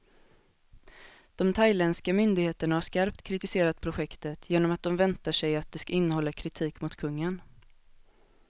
De thailändska myndigheterna har skarpt kritiserat projektet, genom att de väntar sig att det ska innehålla kritik mot kungen.